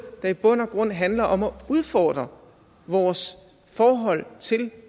der i bund og grund handler om at udfordre vores forhold til